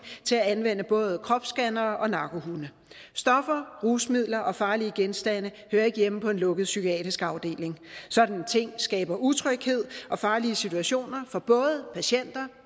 til at anvende både kropsscannere og narkohunde stoffer rusmidler og farlige genstande hører ikke hjemme på en lukket psykiatrisk afdeling sådanne ting skaber utryghed og farlige situationer for både patienter